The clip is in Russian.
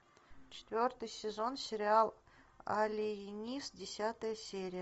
четвертый сезон сериал алиенист десятая серия